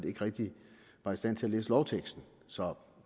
ikke rigtig var i stand til at læse lovteksten så